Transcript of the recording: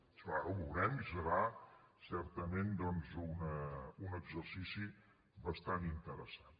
això ara ho veurem i serà certament doncs un exercici bastant interessant